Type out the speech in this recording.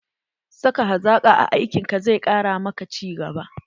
saka hazaƙa a aikin ka zai ƙara ma ka ci gaba.